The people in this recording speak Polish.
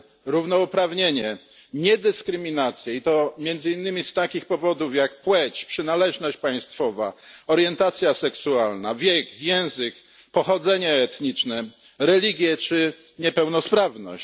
równouprawnienie, niedyskryminację, i to między innymi z takich powodów jak płeć przynależność państwowa, orientacja seksualna, wiek, język, pochodzenie etniczne, religia czy niepełnosprawność.